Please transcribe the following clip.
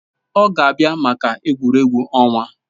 Ọ ga-abịa maka egwuregwu ọnwa